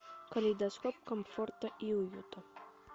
калейдоскоп комфорта и уюта